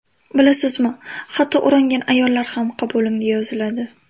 Bilasizmi, hatto o‘rangan ayollar ham qabulimga yoziladi.